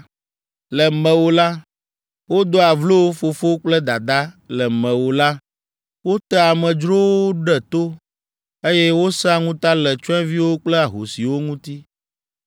Le mewò la, wodoa vlo fofo kple dada, le mewò la, wotea amedzrowo ɖe to, eye wosẽa ŋuta le tsyɔ̃eviwo kple ahosiwo ŋuti.